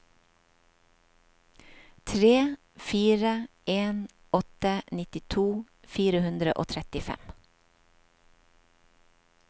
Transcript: tre fire en åtte nittito fire hundre og trettifem